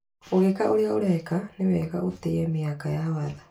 Ũgĩka ũrĩa ureka nĩ wega ũtĩye mĩhaka ya watho.